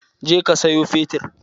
Je ka sayo fetur!